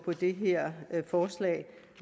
det her forslag